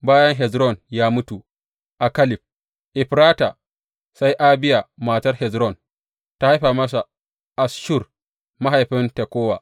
Bayan Hezron ya mutu a Kaleb Efrata, sai Abiya matar Hezron ta haifa masa Asshur mahaifin Tekowa.